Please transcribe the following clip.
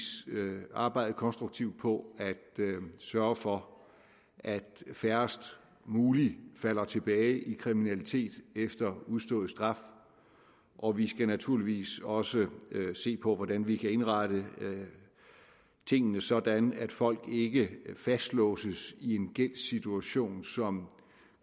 arbejde konstruktivt på at sørge for at færrest muligt falder tilbage i kriminalitet efter udstået straf og vi skal naturligvis også se på hvordan vi kan indrette tingene sådan at folk ikke fastlåses i en gældssituation som